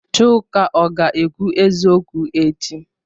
Chuka ọ ga-ekwu eziokwu echi?